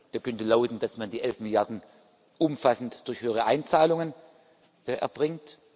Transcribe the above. Er könnte lauten, dass man die elf Milliarden umfassend durch höhere Einzahlungen erbringt.